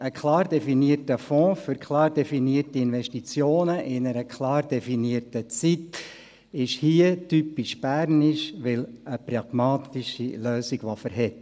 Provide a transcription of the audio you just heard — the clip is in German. Ein klar definierter Fonds für klar definierte Investitionen in einer klar definierten Zeit ist hier typisch bernisch, weil eine pragmatische Lösung, die Stand hält.